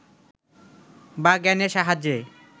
বা জ্ঞানের সাহায্যে